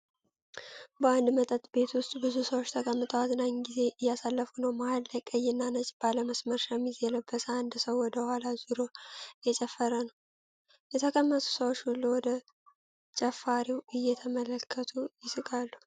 በአንድ መጠጥ ቤት ውስጥ ብዙ ሰዎች ተቀምጠው አዝናኝ ጊዜ እያሳለፉ ነው። መሃል ላይ ቀይና ነጭ ባለመስመር ሸሚዝ የለበሰ አንድ ሰው ወደ ኋላው ዞሮ እየጨፈረ ነው። የተቀመጡት ሰዎች ሁሉ ወደ ጨፋሪው እየተመለከቱ ይስቃሉ።